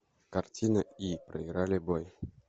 картина и проиграли бой